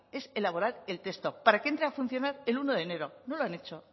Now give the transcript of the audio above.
es elaborar el texto para que entre a funcionar el uno de enero no lo han hecho